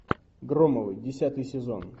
громовы десятый сезон